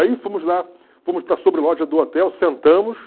Aí fomos lá, fomos para a sobreloja do hotel, sentamos.